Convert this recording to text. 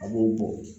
A b'o bɔ